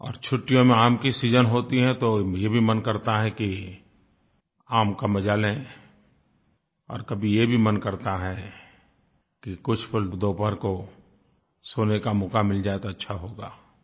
और छुट्टियों में आम का सीजन होता है तो ये भी मन करता है कि आम का मज़ा लें और कभी ये भी मन करता है कि कुछ पल दोपहर को सोने का मौका मिल जाए तो अच्छा होगा